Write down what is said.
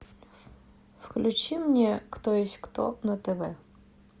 включи мне кто есть кто на тв